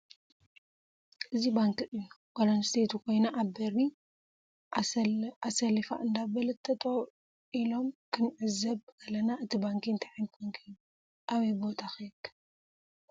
እዚ ባንክ እዩ ጋል ኣንሰተይት ኮይና ኣብ በሪ ኣሳረፊ እዳበለት ጠጠው ኢሎም ክንዒዘብ ከለና እቲ ባንክ እንታይ ዓይነት ባንክ እዩ ኣበይ ቦታ ከ ይርከብ?